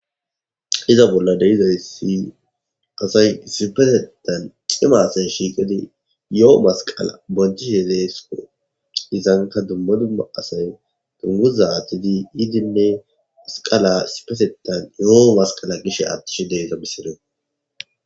Hayssa bolla dizayssi asay issippetetan cima asay shiiqidi yoo masqala boonchishe de7oosona izankka dumma dumma asay guzgaaze idimmidi masqala yoo gishe eqqidoosona.